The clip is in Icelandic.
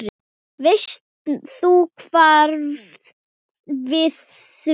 Veist þú svarið við því?